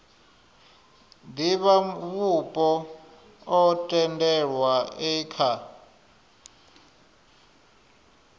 divhavhupo o tendelwaho e kha